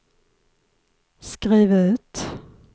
skriv ut